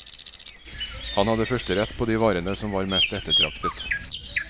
Han hadde førsterett på de varene som var mest ettertraktet.